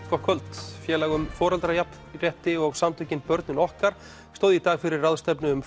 gott kvöld félag um foreldrajafnrétti og börnin okkar stóðu í dag fyrir ráðstefnu um